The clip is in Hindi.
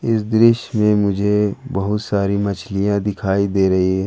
इस दृश्य में मुझे बहुत सारी मछलियां दिखाई दे रही है।